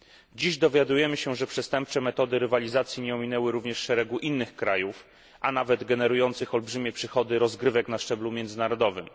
Dziś dowiadujemy się, że przestępcze metody rywalizacji nie ominęły również szeregu innych krajów, a nawet generujących olbrzymie przychody rozgrywek na szczeblu międzynarodowym.